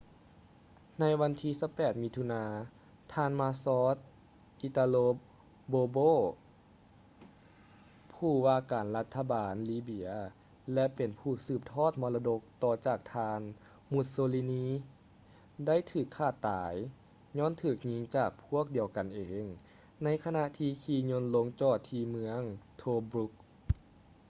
ໃນວັນທີ 28 ມິຖຸນາ ທ່ານ ມາຊອລ໌ ອິຕາໂລ ບອລ໌ໂບ marshal italo balbo ຜູ້ວ່າການລັດຖະບານລີເບຍ ແລະ ເປັນຜູ້ສືບທອດມໍລະດົກຕໍ່ຈາກທ່ານ ມຸດໂຊລີນີ mussolini ໄດ້ຖືກຂ້າຕາຍຍ້ອນຖືກຍິງຈາກພວກດຽວກັນເອງ ໃນຂະນະທີ່ຂີ່ຍົນລົງຈອດທີ່ເມືອງ ໂທບຼຸກ tobruk